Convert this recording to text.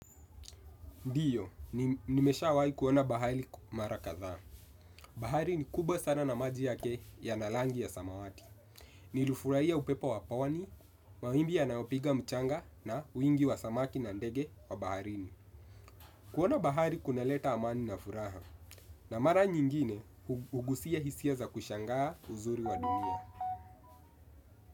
Ndiyo, nimeshawai kuona bahari mara kadhaa. Bahari ni kubwa sana na maji yake yana langi ya samawati. Nilifurahia upepo wa pawani, mawimbi yanaopiga mchanga na wingi wa samaki na ndege wa baharini. Kuona bahari kunaleta amani na furaha. Na mara nyingine, ugusia hisia za kushangaa uzuri wa dunia.